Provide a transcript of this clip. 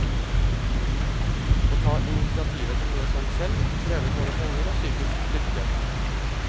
Å ta initiativet til noe sånt selv, krever både penger og psykisk styrke.